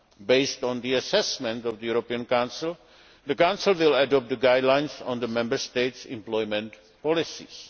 Based on the assessment of the European Council, the Council will adopt the guidelines on the Member States' employment policies.